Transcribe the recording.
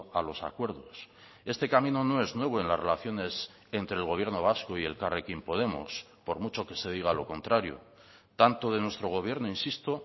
a los acuerdos este camino no es nuevo en las relaciones entre el gobierno vasco y elkarrekin podemos por mucho que se diga lo contrario tanto de nuestro gobierno insisto